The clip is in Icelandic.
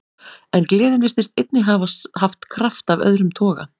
En gleðin virtist einnig hafa haft kraft af öðrum toga.